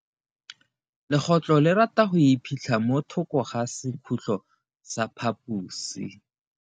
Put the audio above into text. Legotlo le rata go iphitlha mo thoko ga sekhutlo sa phaposi.